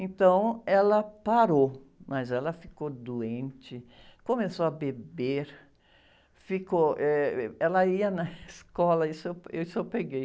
Então, ela parou, mas ela ficou doente, começou a beber, ficou, eh, ela ia na escola, isso eu, isso eu peguei,